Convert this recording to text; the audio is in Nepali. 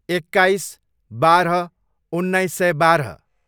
एक्काइस, बाह्र, उन्नाइस सय बाह्र